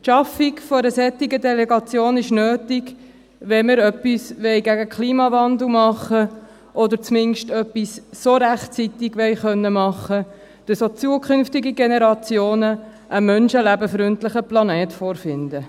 Die Schaffung einer solchen Delegation ist nötig, wenn wir etwas gegen den Klimawandel tun wollen, oder zumindest, wenn wir etwas so rechtzeitig tun wollen, dass auch zukünftige Generationen einen menschenlebenfreundlichen Planeten vorfinden.